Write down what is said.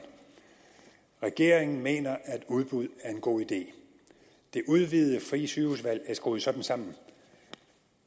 regeringen mener at udbud er en god idé det udvidede frie sygehusvalg er skruet sådan sammen